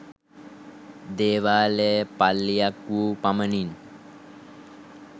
දේවාලය පල්ලියක් වූ පමණින්